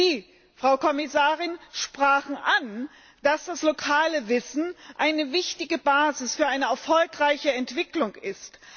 Sie, Frau Kommissarin, sprachen an, dass das lokale Wissen eine wichtige Basis für eine erfolgreiche Entwicklung ist.